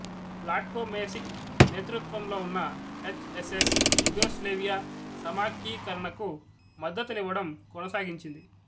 Vladko Macek నేతృత్వంలో ఉన్న H S S Yugoslavia సమాఖ్యీకరణకు మద్దతునివ్వడం కొనసాగించింది